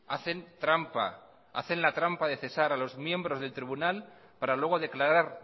hacen trampa hacen la trampa de cesar a los miembros del tribunal para luego declarar